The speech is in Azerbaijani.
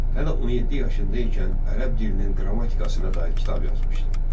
Hələ 17 yaşında ikən ərəb dilinin qrammatikasına dair kitab yazmışdı.